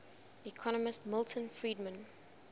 economist milton friedman